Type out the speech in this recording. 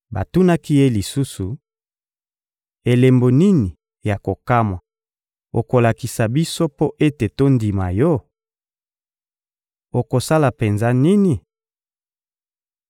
Batunaki Ye lisusu: — Elembo nini ya kokamwa okolakisa biso mpo ete tondima Yo? Okosala penza nini?